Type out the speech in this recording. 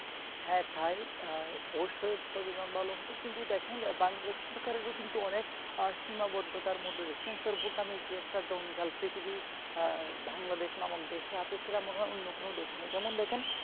হ্যাঁ তাই অবশ্যই ছবির মান ভালো হতো কিন্তু দেখেন বাংলাদেশ সরকারেরও কিন্তু অনেক সীমাবদ্ধতার মধ্যে সেন্সর বুদ নামের যে একটা জঞ্জাল পৃথিবীর বাংলাদেশ আমাদের দেশে আছে যেমন সেরকম অন্য কোন দেশে নেই যেমন দেখেন